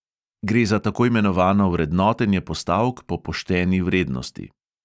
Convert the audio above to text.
Gre za tako imenovano vrednotenje postavk po pošteni vrednosti.